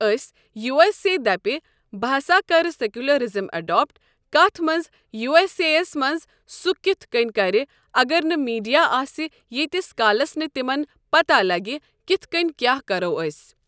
أسۍ یوٗ اٮ۪س اے دپہِ بہٕ ہسا کرٕ سٮ۪کولرزم اٮ۪ڈاپٹ کتھ منٛز یوٗ اٮ۪س اے یس منٛز سُہ کِتھ کٔنۍ کرِ اگر نہٕ میٖڈیا آسہِ یٖتس کالس نہٕ تٔمِس پتہ لگہِ کِتھ کٔنۍ کیٛاہ کرو أسۍ۔